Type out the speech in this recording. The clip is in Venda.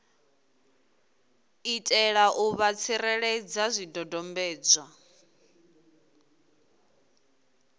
itela u vha tsireledza zwidodombedzwa